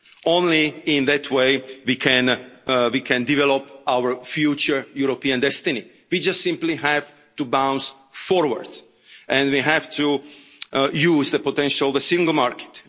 Only in that way can we develop our future European destiny. We just simply have to bounce forward and we have to use the potential, the Single Market.